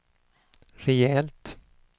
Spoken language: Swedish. rejält